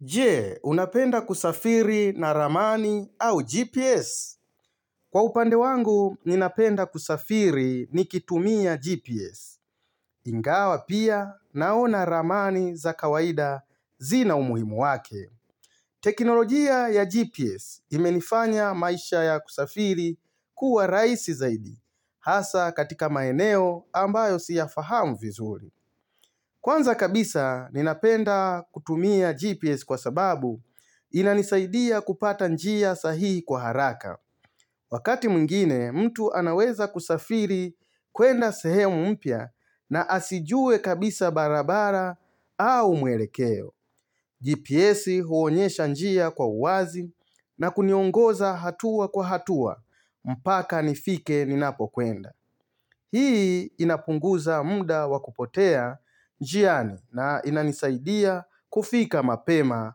Je, unapenda kusafiri na ramani au GPS? Kwa upande wangu, ninapenda kusafiri nikitumia GPS. Ingawa pia naona ramani za kawaida zina umuhimu wake. Teknolojia ya GPS imenifanya maisha ya kusafiri kuwa rahisi zaidi, hasaa katika maeneo ambayo siyafahamu vizuri. Kwanza kabisa, ninapenda kutumia GPS kwa sababu inanisaidia kupata njia sahihi kwa haraka Wakati mwingine mtu anaweza kusafiri kwenda sehemu mpya na asijue kabisa barabara au mwelekeo GPS huonyesha njia kwa wazi na kuniongoza hatua kwa hatua mpaka nifike ninapokwenda Hii inapunguza muda wa kupotea njiani na inanisaidia kufika mapema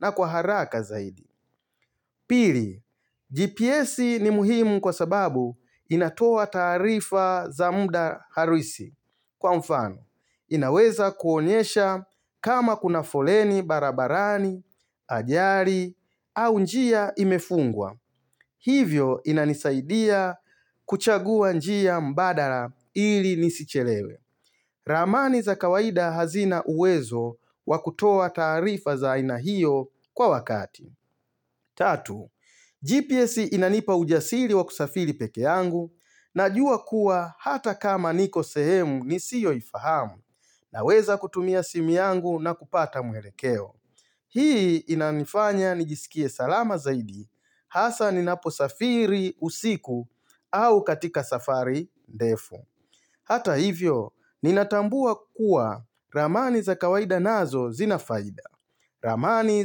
na kwa haraka zaidi Pili, GPS ni muhimu kwa sababu inatoa taarifa za muda harisi. Kwa mfano, inaweza kuonyesha kama kuna foleni barabarani, ajali, au njia imefungwa. Hivyo inanisaidia kuchagua njia mbadala ili nisichelewe. Ramani za kawaida hazina uwezo wa kutoa taarifa za aina hiyo kwa wakati. Tatu, GPS inanipa ujasili wa kusafiri pekee yangu najua kuwa hata kama niko sehemu nisiyo ifahamu na weza kutumia simu yangu na kupata mwelekeo. Hii inanifanya nijisikie salama zaidi hasa ninaposafiri usiku au katika safari ndefu. Hata hivyo, ninatambua kuwa ramani za kawaida nazo zinafaida. Ramani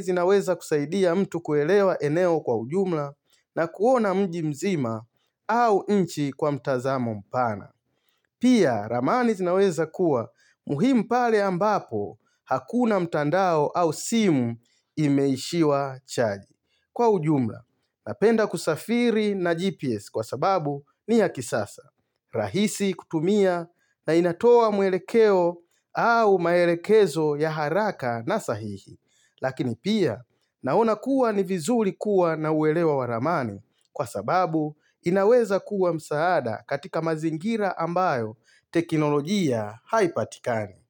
zinaweza kusaidia mtu kuelewa eneo kwa ujumla na kuona mjimzima au nchi kwa mtazamo mpana. Pia, ramani zinaweza kuwa muhimu pale ambapo hakuna mtandao au simu imeishiwa chaji. Kwa ujumla, napenda kusafiri na GPS kwa sababu ni ya kisasa. Rahisi kutumia na inatoa mwelekeo au maelekezo ya haraka na sahihi. Lakini pia naona kuwa ni vizuri kuwa na uelewa wa ramani kwa sababu inaweza kuwa msaada katika mazingira ambayo teknolojia haipatikani.